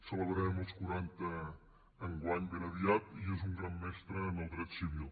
celebrarem els quaranta enguany ben aviat i és un gran mestre en el dret civil